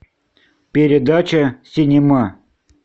передача синема